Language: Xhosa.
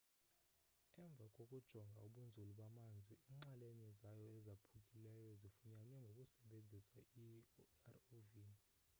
emva kokujonga ubunzulu bamanzi iinxalenye zayo ezaphukileyo zifunyanwe ngokusebenzisa irov